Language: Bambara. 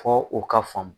Fɔ u ka faamu